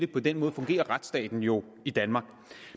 på den måde fungerer retsstaten jo i danmark